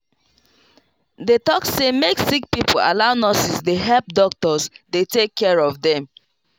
they talk say make sick pipo allow nurses dey help doctors dey take care of dem.